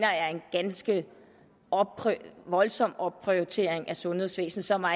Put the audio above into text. ganske voldsom opprioritering af sundhedsvæsenet som er